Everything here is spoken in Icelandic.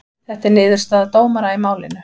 Þetta er niðurstaða dómara í málinu